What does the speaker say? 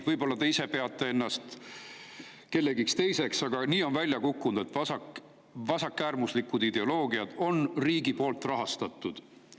Võib-olla te ise peate ennast kellekski teiseks, aga nii on välja kukkunud, et vasakäärmuslikud ideoloogiad on riigi poolt rahastatud.